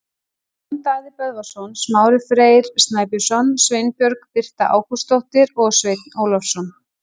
Jón Daði Böðvarsson, Smári Freyr Snæbjörnsson, Sveinbjörg Birta Ágústsdóttir og Sveinn Ólafsson.